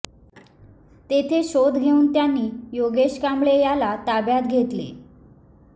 तेथे शोध घेऊन त्यांनी योगेश कांबळे याला ताब्यात घेतले